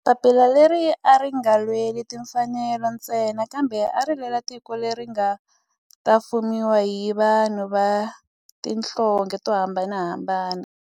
Papila leri a ri nga lweli timfanelo ntsena kambe ari lwela tiko leri nga ta fumiwa hi vanhu va tihlonge to hambanahambana.